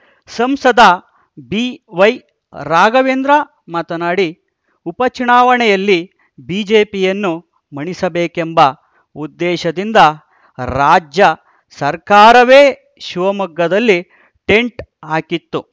ಸಂಸದ ಬಿವೈ ರಾಘವೇಂದ್ರ ಮಾತನಾಡಿ ಉಪಚುನಾವಣೆಯಲ್ಲಿ ಬಿಜೆಪಿಯನ್ನು ಮಣಿಸಬೇಕೆಂಬ ಉದ್ದೇಶದಿಂದ ರಾಜ್ಯ ಸರ್ಕಾರವೇ ಶಿವಮೊಗ್ಗದಲ್ಲಿ ಟೆಂಟ್‌ ಹಾಕಿತ್ತು